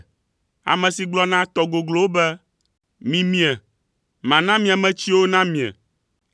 Ame si gblɔ na tɔ goglowo be, ‘Mimie, mana mia me tsiwo namie.’